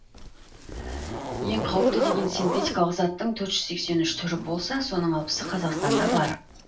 ең қауіпті деген синтетикалық заттың төрт жүз сексен үш түрі болса соның алпысы қазақстанда бар